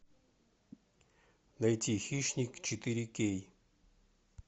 найти хищник четыре кей